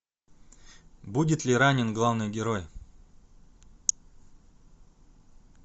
будет ли ранен главный герой